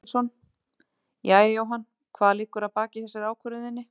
Páll Ketilsson: Jæja Jóhann hvað liggur að baki þessari ákvörðun þinni?